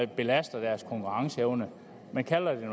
belaster deres konkurrenceevne man kalder det